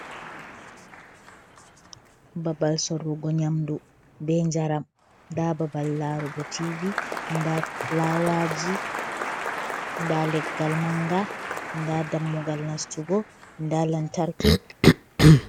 Babal sorugo nyamdu be jaram, ndaa babal laarugo tiivi, ndaa fulawaaji, ndaa leggal mannga, ndaa dammugal nastugo, ndaa lantarki.